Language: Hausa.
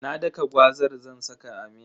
Na daka gwazar zan saka a miya.